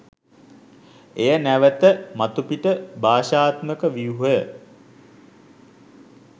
එය නැවත මතුපිට භාෂාත්මක ව්‍යුහය